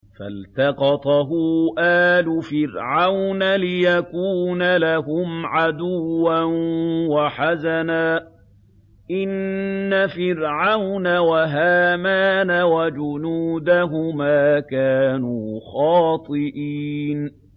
فَالْتَقَطَهُ آلُ فِرْعَوْنَ لِيَكُونَ لَهُمْ عَدُوًّا وَحَزَنًا ۗ إِنَّ فِرْعَوْنَ وَهَامَانَ وَجُنُودَهُمَا كَانُوا خَاطِئِينَ